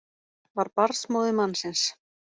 Var barnsmóðir mannsins